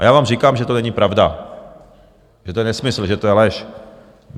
A já vám říkám, že to není pravda, že to je nesmysl, že to je lež.